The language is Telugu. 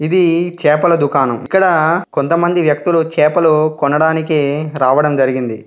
ఇది చేపల దుకాణం. ఇక్కడ కొంతమంది వ్యక్తులు చేపలు కొనడానికి రావడం జరిగింది.